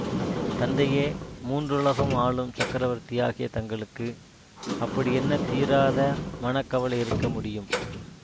தந்தையே மூன்றுலகம் ஆளும் சக்கரவர்த்தியாகிய தங்களுக்கு அப்படி என்ன தீராத மனக்கவலை இருக்க முடியும்